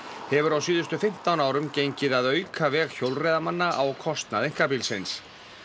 hefur á síðustu fimmtán árum gengið að auka veg hjólreiðamanna á kostnað einkabílsins